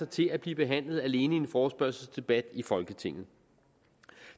til at blive behandlet alene i en forespørgselsdebat i folketinget